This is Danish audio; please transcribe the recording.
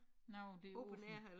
Noget der åbent